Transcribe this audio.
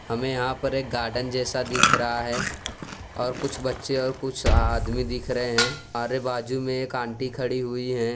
हमें यहां पर एक गार्डन जैसा दिख रहा है और कुछ बच्चे और कुछ आदमी दिख रहे हैं अरे बाजू में एक आंटी खड़ी हुई है।